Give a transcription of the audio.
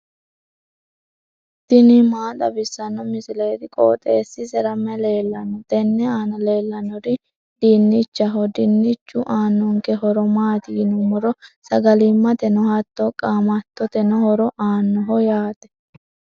tini maa xawissanno misileeti? qooxeessisera may leellanno? tenne aana leellannori dinnichaho. dinnichu aannonke horo maati yinummoro sagalimmateno hattono qaamattoteno horo aannoho yaate.